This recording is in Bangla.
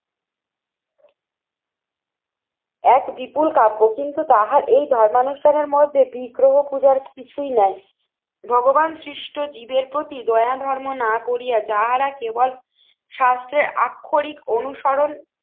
এক বিপুল কাব্য কিন্তু তাহার এই ধর্মানুষ্ঠানের মধ্যে বিগ্রহ খোঁজার কিছুই নাই। ভগবান সৃষ্ট জীবের প্রতি দয়াধর্ম না করিয়া যাহারা কেবল শাস্ত্রের আক্ষরিক অনুসরণ